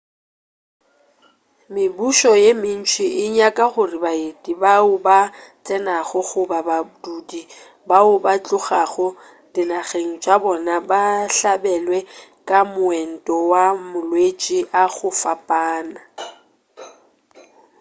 mebušo ye mentši e nyaka gore baeti bao ba tsenago goba badudi bao ba tlogago dinageng tša bona ba hlabelwe ka moento wa malwetši a go fapana